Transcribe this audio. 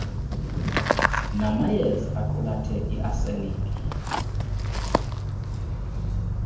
namayeaza aqulathe iarseniki